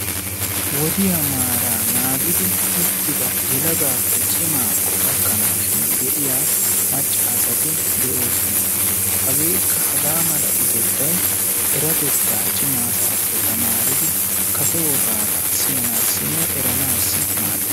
Wodiyaa maara naagidi uttida yelagaappe cimmakko gakanashin de'iyaa macca asati de'oosona. hagekka haga mala utettay, erettata cimma asappe tamaridi kase wogabba cimma asappe eranassinne siyannassi maaddees.